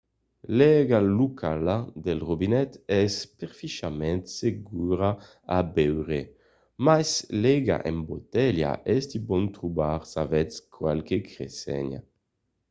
l'aiga locala del robinet es perfièchament segura a beure mas l'aiga en botelha es de bon trobar s'avètz qualques crenhenças